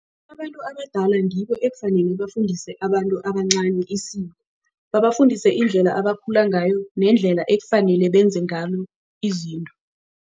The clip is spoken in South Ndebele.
Abantu abadala ngibo ekufanele bafundise abantu abancani isiko. Babafundise indlela abakhula ngayo nendlela ekufanele benze ngalo izinto.